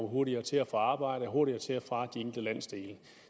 hurtigere til og fra arbejde og hurtigere til og fra de enkelte landsdele